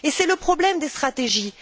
C'est le problème des stratégies.